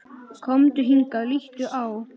Komdu hingað, líttu á!